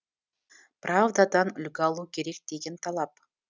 правдадан үлгі алу керек деген талап